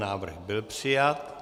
Návrh byl přijat.